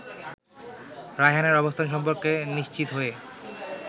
রায়হানের অবস্থান সম্পর্কে নিশ্চিত হয়ে